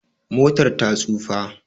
Motar ta tsufa